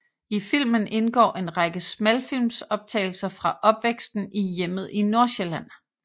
I filmen indgår en række smalfilmsoptagelser fra opvæksten i hjemmet i Nordsjælland